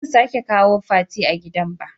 toh bazan sake kawo Fati a gidan ba.